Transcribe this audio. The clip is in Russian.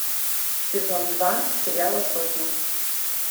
сезон два сериала сотня